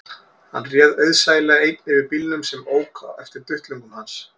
Hann réð auðsæilega einn yfir bílnum sem ók eftir duttlungum hans